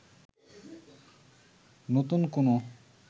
নতুন কোনো